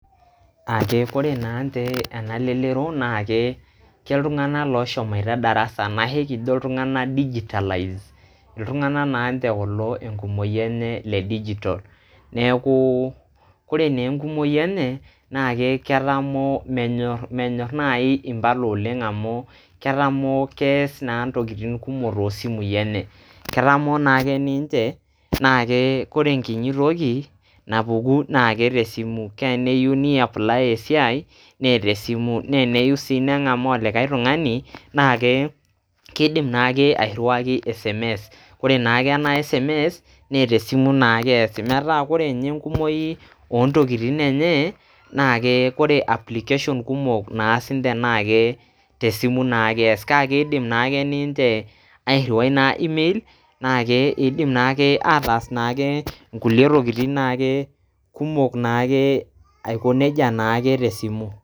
Ake kore naatii ena lelero, naake ke ltung'anak loshomoita darasa anashe kijo iltung'anak digitalized iltung'anak naanje kulo enkumoi enye le digital. Neeku kore naa enkumoi enye naake ketamoo menyor menyor naai impala oleng' amu ketamoo kees naa ntokitin kumok to simui enye. Ketamoo naake ninje naake kore enkinyi toki napuku naake te simu, teneyu niapply esiai nee te simu, nee eneyu sii neng'amaa olikai tung'ani naake kidim naake airiwaki sms kore naake ena sms naa te simu naake easi. Metaa kore nye enkumoi o ntokitin enye naake kore application kumok naas ninje naa te simu naake ees. Kake indim naake ninje airiwai email naake idim naake ataas naake nkulie tokitin naake kumok naake aiko neija naake te simu.